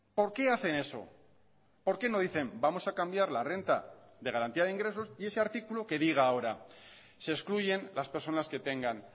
por qué hacen eso por qué no dicen vamos a cambiar la renta de garantía de ingresos y ese artículo que diga ahora se excluyen las personas que tengan